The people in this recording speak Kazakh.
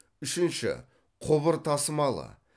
үшінші құбыр тасымалы